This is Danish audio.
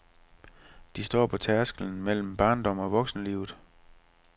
De står på tærsklen mellem barndom og voksenlivet.